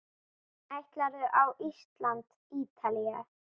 Ætlarðu á Ísland- Ítalía?